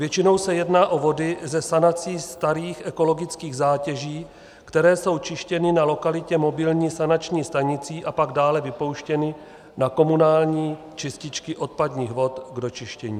Většinou se jedná o vody ze sanací starých ekologických zátěží, které jsou čištěny na lokalitě mobilní sanační stanicí a pak dále vypouštěny na komunální čističky odpadních vod k dočištění.